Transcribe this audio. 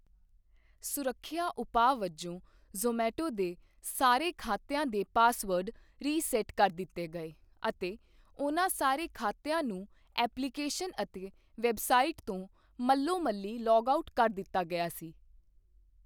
ਸੁਰੱਖਿਆ ਉਪਾਅ ਵਜੋਂ ਜੋਮੈਟੋ ਦੇ ਸਾਰੇ ਖਾਤਿਆਂ ਦੇ ਪਾਸਵਰਡ ਰੀਸੈੱਟ ਕਰ ਦਿੱਤੇ ਗਏ ਅਤੇ ਉਹਨਾਂ ਸਾਰੇ ਖਾਤਿਆਂ ਨੂੰ ਐਪਲੀਕੇਸ਼ਨ ਅਤੇ ਵੈੱਬਸਾਈਟ ਤੋਂ ਮੱਲੋਮੱਲੀ ਲੌਗਆਊਟ ਕਰ ਦਿੱਤਾ ਗਿਆ ਸੀ।